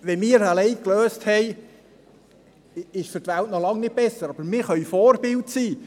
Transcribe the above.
Wenn wir das Problem für uns gelöst haben, ist es für die Welt noch nicht besser, aber wir können Vorbild sein.